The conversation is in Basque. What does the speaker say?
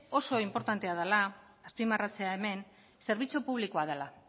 oso inportantea dela azpimarratzea hemen zerbitzu publikoa dela